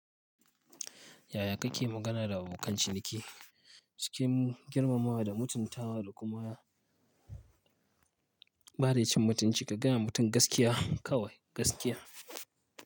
Yaya kake magana da abokan ciniki? Cikin girmamawa da mutuntawa da kuma bare mutunci ka gaya wa mutum gaskiya kawai gaskiya.